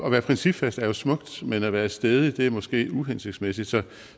at være principfast er jo smukt men at være stædig er måske uhensigtsmæssigt så